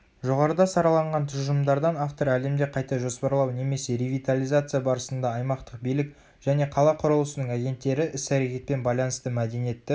жоғарыда сараланған тұжырымдардан автор әлемде қайта жоспарлау немесе ревитализация барысында аймақтық билік және қала құрылысының агенттері іс-әрекетпен байланысты мәдениетті